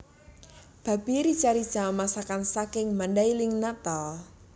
Babi rica rica masakan saking Mandailing Natal